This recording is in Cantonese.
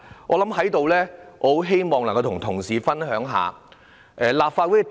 我在此希望與同事分享一下看法。